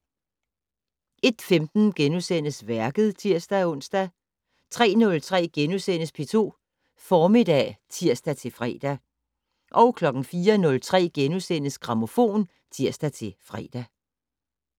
01:15: Værket *(tir-ons) 03:03: P2 Formiddag *(tir-fre) 04:03: Grammofon *(tir-fre)